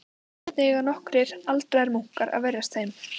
Hvernig eiga nokkrir aldraðir munkar að verjast þeim?